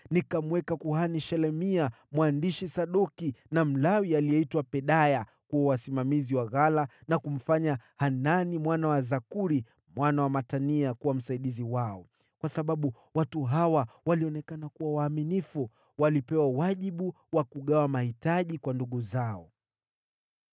Nikamweka kuhani Shelemia, mwandishi Sadoki, na Mlawi aliyeitwa Pedaya kuwa wasimamizi wa ghala, na kumfanya Hanani mwana wa Zakuri, mwana wa Matania kuwa msaidizi wao, kwa sababu watu hawa walionekana kuwa waaminifu. Walipewa wajibu wa kugawa mahitaji kwa ndugu zao.